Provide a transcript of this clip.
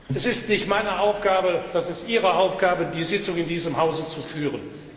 Es ist nicht meine Aufgabe, es ist Ihre Aufgabe, die Sitzung in diesem Hause zu führen.